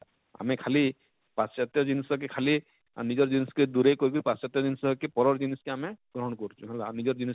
ଆମେ ଖାଲି ପାଶ୍ଚତ୍ୟ ଜିନ୍ସ କେ ଖାଲି ଆଁ ନିଜର ଜିନ୍ସ କେ ଦୁରେଇ କରି ବି ପାଶ୍ଚତ୍ୟ ଜିନ୍ସ କେ ପରର ଜିନ୍ସ କେ ଆମେ ଗ୍ରହଣ କରୁଛୁ ହେଲା ଆଉ ନିଜର ଜିନ୍ସ